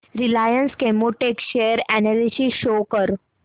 Reliance Chemotex share analysis show कर